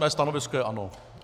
Mé stanovisko je ano.